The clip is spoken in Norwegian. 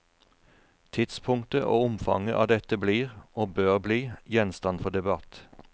Tidspunktet og omfanget av dette blir, og bør bli, gjenstand for debatt.